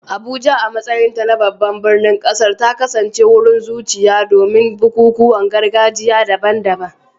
Abuja, a matsayinta na babban birnin ƙasar, ta kasance wurin zuciya domin bukukuwan gargajiya daban-daban.